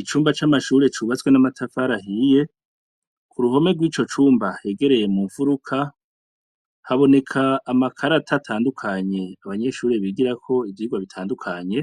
Icumba c'amashure cubatswe n'amatafari ahiye ,k'uruhome rwico cumba hegereye mu mfuruka haboneka amakarata atandukanye, abanyeshure bigirako ivyigwa bitandukanye,